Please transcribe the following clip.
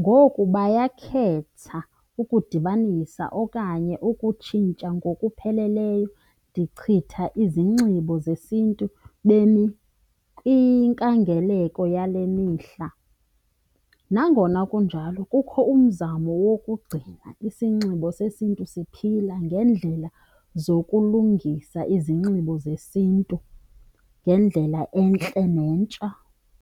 Ngoku bayakhetha ukudibanisa okanye ukutshintsha ngokupheleleyo, ndichitha izinxibo zesiNtu bemi kwinkangeleko yale mihla. Nangona kunjalo kukho umzamo wokugcina isinxibo sesiNtu siphila ngeendlela zokulungisa izinxibo zesiNtu ngendlela entle nentsha.